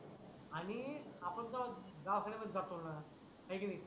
आणि आपण जेव्हा दवाखण्यातच जातो णा आहे की नाही